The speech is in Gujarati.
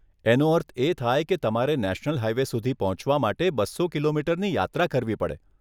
એનો અર્થ એ થાય કે તમારે નેશનલ હાઈવે સુધી પહોંચવા માટે બસો કિલોમીટરની યાત્રા કરવી પડે.